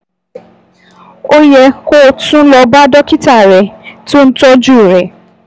Ó yẹ kó o tún lọ bá dókítà rẹ tó ń tọ́jú rẹ